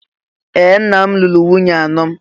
Ee! Nna m lụrụ nwunye anọ.